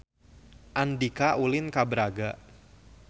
Andika ulin ka Braga